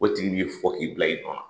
O tigi b'i fo k'i bila i nɔ la.